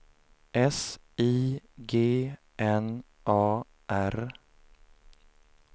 S I G N A R